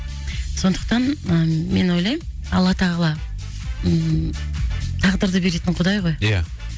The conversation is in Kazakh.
сондықтан ы мен ойлаймын алла тағала ммм тағдырды беретін құдай ғой ия